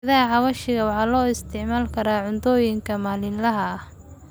Geedaha xawaashka waxaa loo isticmaali karaa cuntooyinka maalinlaha ah.